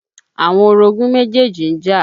Àwọn orogún méjèjì ń jà.